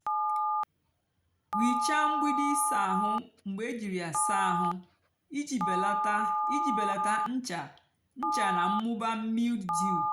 ghichaa mgbidi ịsá áhụ́ mgbe éjírí yá sáá àhú íjì belata íjì belata ncha ncha nà mmụba mildew.